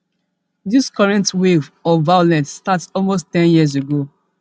dis current wave of violence start almost ten years ago